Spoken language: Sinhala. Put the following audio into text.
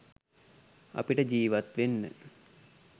අපිට ජීවත් වෙන්න